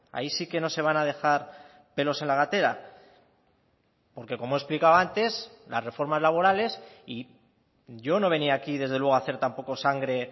ahí sí que no se van a dejar pelos en la gatera porque como he explicado antes las reformas laborales y yo no venía aquí desde luego a hacer tampoco sangre